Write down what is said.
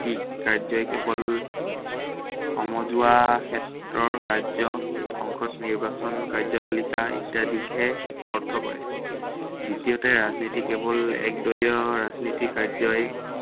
কাৰ্যই কেৱল সমজুৱা ক্ষেত্ৰৰ কাৰ্য, সংকট, নিৰ্বাচন কাৰ্যপালিকা ইত্য়াদিকহে অৰ্থ কৰে। দ্বিতীয়তে ৰাজনীতি কেৱল এক দলীয় ৰাজনীতি কাৰ্যই